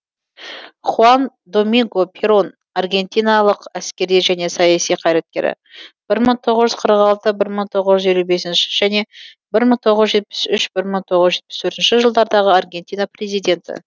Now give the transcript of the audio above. хуа н доми нго перо н аргентиналық әскери және саяси қайраткері бір мың тоғыз жүз қырық алтыншы бір мың тоғыз жүз елу бесінші және бір мың тоғыз жүз жетпіс үшінші бір мың тоғыз жүз жетпіс төртінші жылдардағы аргентина президенті